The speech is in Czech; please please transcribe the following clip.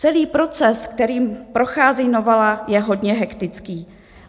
Celý proces, kterým prochází novela, je hodně hektický.